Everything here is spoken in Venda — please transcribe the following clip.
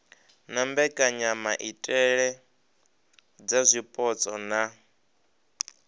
na mbekanyamaitele dza zwipotso na